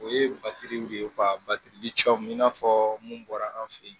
O ye batiriw de ye ka batiri cɔmu i n'a fɔ mun bɔra an fe yen